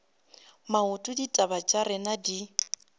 maoto ditaba tša rena di